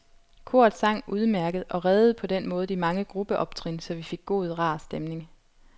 Koret sang udmærket og reddede på den måde de mange gruppeoptrin, så vi fik god, rar stemning.